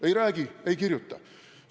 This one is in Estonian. Ei räägi, ei kirjuta!